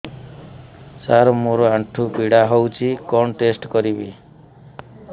ସାର ମୋର ଆଣ୍ଠୁ ପୀଡା ହଉଚି କଣ ଟେଷ୍ଟ କରିବି